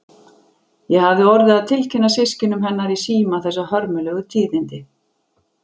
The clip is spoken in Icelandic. Ég hafði orðið að tilkynna systkinum hennar í síma þessi hörmulegu tíðindi.